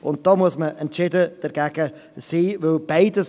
und da muss man entschieden dagegen sein.